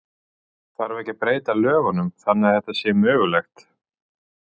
Þarf ekki að breyta lögunum þannig að þetta sé mögulegt?